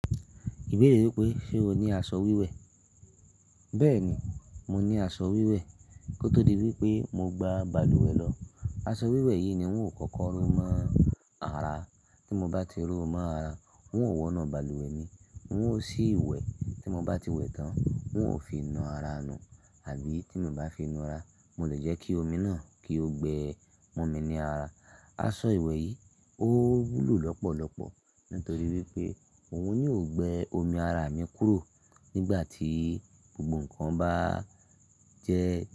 Ìbéèrè wípé, ṣe o ní aṣọ wíwẹ̀? Bẹ́ẹ̀ni, mo ní aṣọ wíwẹ̀. Kó tó di wípé mo gba balùwẹ̀ lọ. Aṣọ wíwẹ̀ yìí ni ń ò kókó ro mọ́ ara. Tí mo bá ti ró mọ́ ara, ń ò wọ̀nu balùwẹ̀ mi. Ń ò sí ìwẹ̀. Tí mo bá ti wẹ̀ tán, ń ò fi nu ara mi, àbí tí mo bá fi nu ara, mo lè jẹ́ kí omi náà kí ó gbẹ mọ́ mi ní ara. Aṣọ ìwẹ̀ yìí ó wúlò lọ́pọ̀lọpọ̀ nítorí wípé òun ni ó gbẹ omi ara mi kúrò nígbà tí gbogbo ǹkan bá jẹ́